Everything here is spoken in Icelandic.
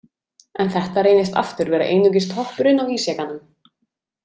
En þetta reynist aftur vera einungis toppurinn á ísjakanum.